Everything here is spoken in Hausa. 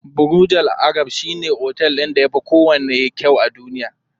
Burj Al arab shine otel ɗin da yafi kowanne kyau a duniya.